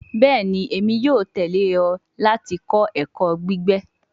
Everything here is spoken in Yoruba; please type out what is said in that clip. Bẹẹni, Emi yoo tẹle ọ lati kọ ẹkọ gbigbe